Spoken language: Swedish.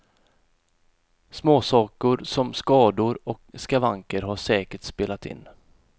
Småsaker, som skador och skavanker, har säkert spelat in.